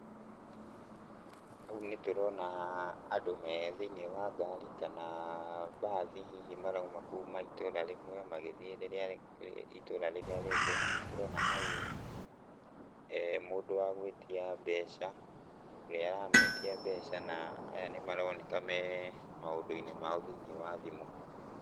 Hau nĩtũrona andũ me thĩiniĩ wa ngari kana, mbathi hihi marauma kuma itũra rĩmwe, magĩthiĩ rĩrĩa itũra rĩrĩa rĩngĩ, na nĩtũrona hau mũndũ wa gũĩtia mbeca, ũrĩa ũrametia mbeca na aya nĩmaroneka me maũndũ-inĩ mao thĩiniĩ wa thimũ.